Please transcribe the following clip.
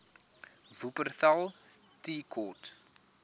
wupperthal tea court